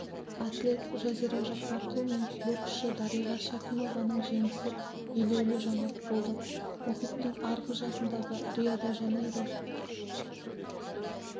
атлет жазира жаппарқұл мен боксшы дариға шәкімованың жеңісі елеулі жаңалық болды мұхиттың арғы жағындағы рио-де-жанейро